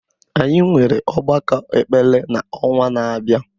Anyị nwere ọgbakọ ekpere n’ọnwa na-abịa